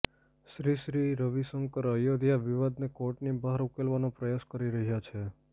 શ્રી શ્રી રવિશંકર અયોધ્યા વિવાદને કોર્ટની બહાર ઉકેલવાનો પ્રયાસ કરી રહ્યા છે